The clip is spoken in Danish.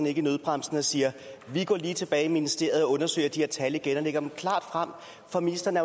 i nødbremsen og sagde vi går lige tilbage i ministeriet og undersøger de her tal igen og lægger dem klart frem for ministeren